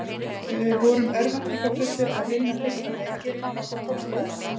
Við vorum örvæntingarfullir að vinna fyrsta leikinn en okkur tókst það ekki.